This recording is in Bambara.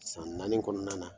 San naani kɔnɔna na